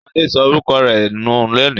Ṣadé sọ òrùka rẹ̀ nú lónìí.